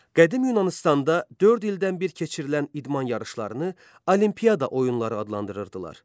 Qədim Yunanıstanda dörd ildən bir keçirilən idman yarışlarını Olimpiada oyunları adlandırırdılar.